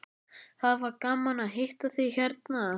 Það var gaman að hitta þig hérna.